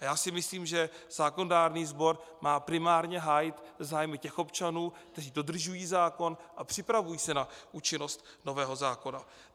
A já si myslím, že zákonodárný sbor má primárně hájit zájmy těch občanů, kteří dodržují zákon a připravují se na účinnost nového zákona.